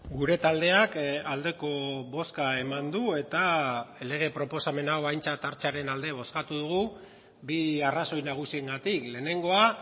gure taldeak aldeko bozka eman du eta lege proposamen hau aintzat hartzearen alde bozkatu dugu bi arrazoi nagusiengatik lehenengoa